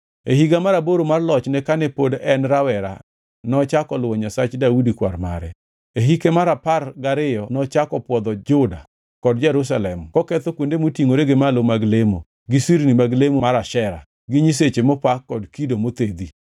E higa mar aboro mar lochne kane pod en rawera nochako luwo Nyasach Daudi kwar mare. E hike mar apar gariyo nochako pwodho Juda kod Jerusalem koketho kuonde motingʼore gi malo mag lemo, gi sirni mag lemo mar Ashera, gi nyiseche mopa kod kido mothedhi.